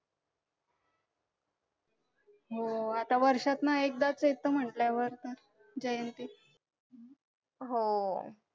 हो आता वर्षात ना एकदाच येतो म्हटल्यावर जयंती